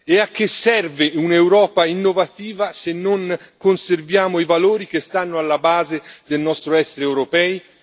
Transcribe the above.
E a che serve un'Europa innovativa, se non conserviamo i valori che stanno alla base del nostro essere europei?